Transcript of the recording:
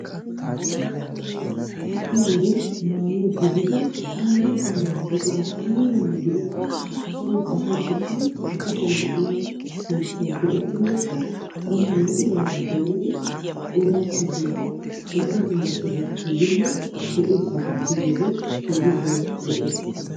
ha'i wodiyaan maayuwa gidide dumma dumma buquraa aybbanne gidikko soon asay uttidi ba kushshiyan de'iyaa silkkiya go''ettinekka bana lpo''idaara dooridi I odappe sinttan dumma dumma sohuwappe yiinne de'iyoosa gakkigiyoogee keehi daro lo''ees.